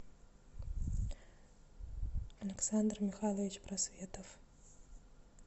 александр михайлович просветов